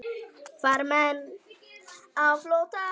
Farmenn á flótta